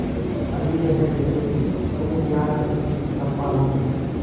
अंधेर है जलदस्यु तुम्हें प्यार करती हूँ चंपा रो पड़ी